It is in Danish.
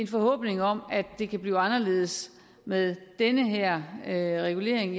forhåbning om at det kan blive anderledes med den her her regulering